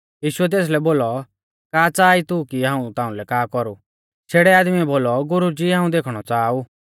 यीशुऐ तेसलै बोलौ का च़ाहा ई तू कि हाऊं ताउंलै का कौरु शेड़ै आदमीऐ बोलौ गुरुजी हाऊं देखणौ च़ाहा ऊ